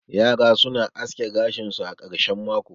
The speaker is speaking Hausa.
yara suna aske gashin su a karshen mako